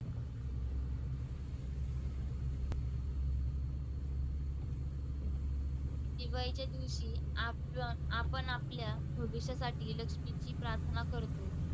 किंवा एके दिवशी आपण~ आपण आपल्या भविष्यासाठी लक्ष्मीची प्रार्थना करतो.